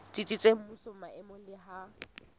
tsitsitseng mmusong maemong le ha